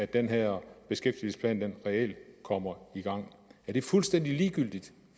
den her beskæftigelsesplan reelt kommer i gang er det fuldstændig ligegyldigt